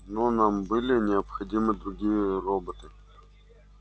но нам были необходимы другие роботы